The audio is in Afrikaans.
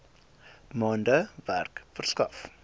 maande werk verskaf